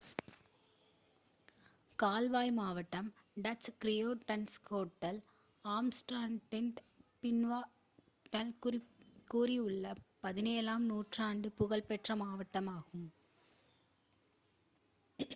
கால்வாய் மாவட்டம் Dutch: Grachtengordel ஆம்ஸ்டர்டாமின் பின்னென்ஸ்டாட்டைச் சுற்றியுள்ள 17 ஆம் நூற்றாண்டின் புகழ்பெற்ற மாவட்டமாகும்